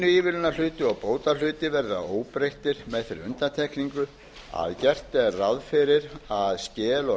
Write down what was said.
nýtingarsamninga línuívilnunarhluti og kvótahluti verður að óbreyttu með þeirri undantekningu að gert er ráð fyrir að skel og